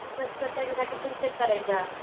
त्याच्यासाठी फेशिअल करायचा.